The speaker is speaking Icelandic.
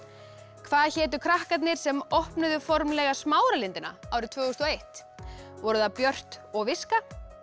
hvað hétu krakkarnir sem opnuðu formlega Smáralindina árið tvö þúsund og eitt voru það Björt og viska